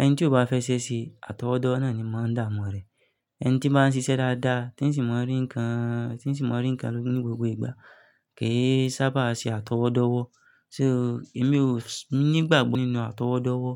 Ẹni tí ó bá fẹ́ ṣẹ́ ṣe àtọwọ́dọ́ náà ni máa ń damu rẹ̀. Ẹni tí bá ń ṣiṣẹ́ dáadáa, tí ń sì mọ ẹ́ rí nǹkan, tí ń sì mọ rí nǹkan ní gbogbo ìgbà ke í sábà ṣe àtọwọ́dọ́wọ́. So èmi ò nígbàgbọ́ nínú àtọwọ́dọ́wọ́.